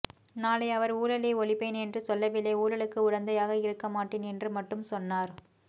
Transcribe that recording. நாளை அவர் ஊழலை ஒழிப்பேன் என்றும் சொல்லவில்லை ஊழலுக்கு உடந்தையாக இருக்க மாட்டேன் என்று மட்டும் சொன்னார்